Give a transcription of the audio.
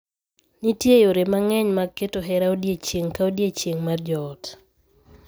Nitie yore mang’eny mag keto hera odiechieng’ ka odiechieng’ mar joot.